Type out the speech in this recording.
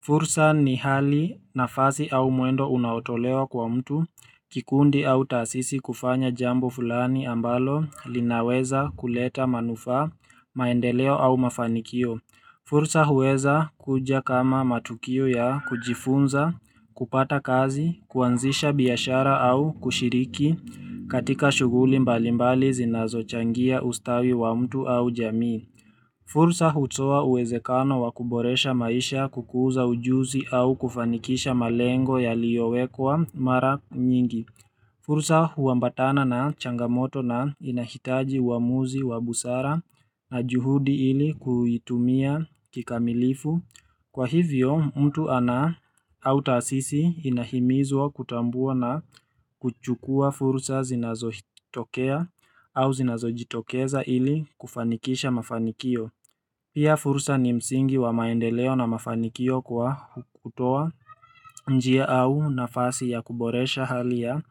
Fursa ni hali nafasi au mwendo unaotolewa kwa mtu kikundi au tasisi kufanya jambo fulani ambalo linaweza kuleta manufaa maendeleo au mafanikio fursa huweza kuja kama matukio ya kujifunza kupata kazi kuanzisha biashara au kushiriki katika shughuli mbalimbali zinazochangia ustawi wa mtu au jamii fursa hutoa uwezekano wakuboresha maisha kukuza ujuzi au kufanikisha malengo yaliyowekwa mara nyingi fursa huambatana na changamoto na inahitaji uamuzi wa busara na juhudi ili kuitumia kikamilifu Kwa hivyo mtu ana au tasisi inahimizwa kutambua na kuchukua fursa zinazotokea au zinazojitokeza ili kufanikisha mafanikio Pia fursa ni msingi wa maendeleo na mafanikio kwa kutoa njia au nafasi ya kuboresha halia ya